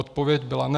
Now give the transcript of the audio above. Odpověď byla ne.